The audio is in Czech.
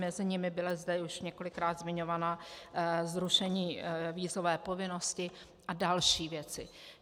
Mezi nimi bylo zde už několikrát zmiňované zrušení vízové povinnosti a další věci.